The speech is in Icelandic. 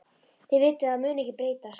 Þið vitið að það mun ekkert breytast.